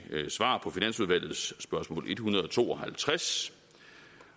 svar på finansudvalgets spørgsmål en hundrede og to og halvtreds